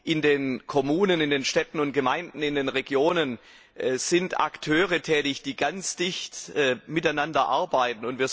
In den Kommunen, in den Städten und Gemeinden, in den Regionen sind Akteure tätig, die ganz eng miteinander arbeiten.